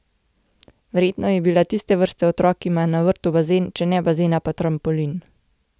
Verjetno je bila tiste vrste otrok, ki ima na vrtu bazen, če ne bazena, pa trampolin.